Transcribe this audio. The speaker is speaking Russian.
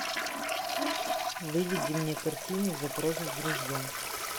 выведи мне картину запрос в друзья